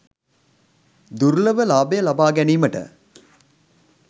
දුර්ලභ ලාභය ලබාගැනීමට